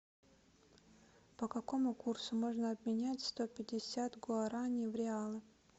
по какому курсу можно обменять сто пятьдесят гуарани в реалы